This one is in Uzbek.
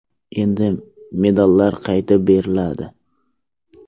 Endi medallar qaytib beriladi.